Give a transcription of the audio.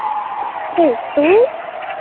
Hefur þú.?